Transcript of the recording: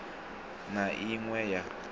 na i ṅ we ya